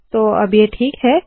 तो अब ये ठीक है